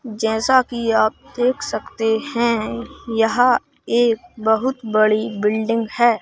जैसा कि आप देख सकते हैं यहाँ एक बहुत बड़ी बिल्डिंग है।